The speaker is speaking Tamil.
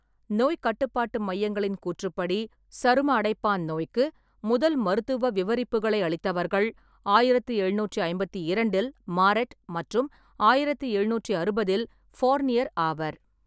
நோய்க் கட்டுப்பாட்டு மையங்களின் கூற்றுப்படி, சரும அடைப்பான் நோய்க்கு முதல் மருத்துவ விவரிப்புகளை அளித்தவர்கள், ஆயிரத்தி எழுநூற்றி ஐம்பத்தி இரண்டில் மாரெட் மற்றும் ஆயிரத்தி எழுநூற்றி அறுபதில் ஃபோர்னியர் ஆவர்.